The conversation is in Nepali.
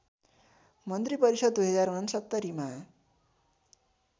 मन्त्रीपरिषद् २०६९ मा